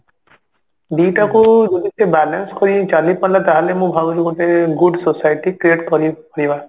ଦିଟାକୁ ଯଦି ସେ balance କରିକି ଚାଲିପାରିଲା ତାହେଲେ ମୁଁ ଭାବୁଛି ଗୋଟେ good society create କରି କରିବା